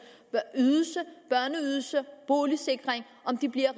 ydelse børneydelse og boligsikring bliver